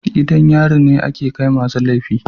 gidan yari ne ake Kai ma su laifi.